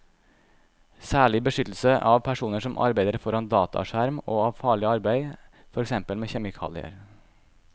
Særlig beskyttelse av personer som arbeider foran dataskjerm og av farlig arbeid, for eksempel med kjemikalier.